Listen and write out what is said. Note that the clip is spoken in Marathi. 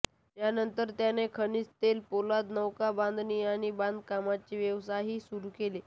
यानंतर त्याने खनिज तेल पोलाद नौकाबांधणी आणि बांधकामाचे व्यवसायही सुरू केले